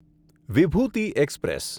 Vibhuti express